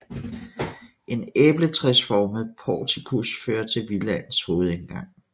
En æbletræsformet portikus fører til villaens hovedindgang